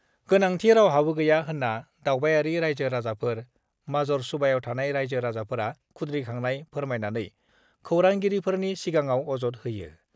गोनांथि रावहाबो गैया होन्ना दावबायारि राइजो-राजाफोर, माजर सुबायाव थानाय राइजो-राजाफोरा खुद्रिखांनाय फोरमायनानै खौरांगिरिफोरनि सिगाङाव अजद होयो।